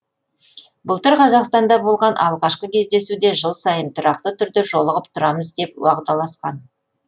былтыр қазақстанда болған алғашқы кездесуде жыл сайын тұрақты түрде жолығып тұрамыз деп уағдаласқан